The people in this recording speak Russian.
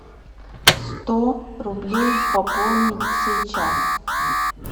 сто рублей пополнить сейчас